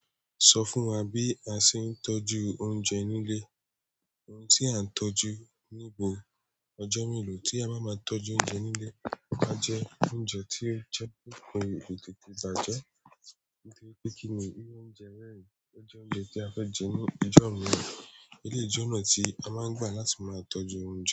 Sọ fún wa bí a ṣe ń tọ́jú oúnjẹ nílé, ohun tí a ń tọ́jú níbo ọjọ́ mélòó tí a ba máa tọ́jú oúnjẹ nílé, áa jẹ oúnjẹ tí ó jẹ́pe kò tètè bàjẹ́, nítorí pé kí ni irú oúnjẹ bẹ́ẹ̀, ó jẹ́ oúnjẹ ti a fẹ́ jẹ ní ọjọ́ mii, eléyi jẹ́ ọ̀nà tí a máa ń gbà láti máa tọ́jú oúnjẹ.